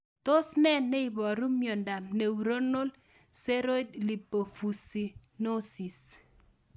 Tos ne neiparu miondop Neuronal ceroid lipofuscinosis?